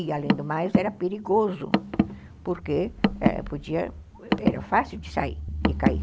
E, além do mais, era perigoso, porque podia, era fácil de sair, de cair.